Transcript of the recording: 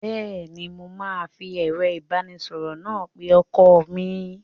Bẹ́ẹ́ni, mo máa fi ẹ̀rọ ìbánisọ̀rọ̀ náà pe ọkọ mi.